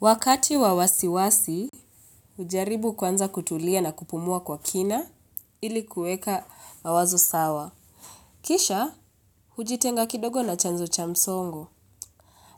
Wakati wa wasiwasi, hujaribu kwanza kutulia na kupumua kwa kina ili kuweka mawazo sawa. Kisha, hujitenga kidogo na chanzo cha msongo.